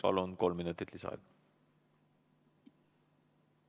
Palun!